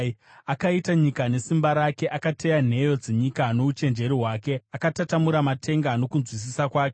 “Akaita nyika nesimba rake; akateya nheyo dzenyika nouchenjeri hwake, akatatamura matenga nokunzwisisa kwake.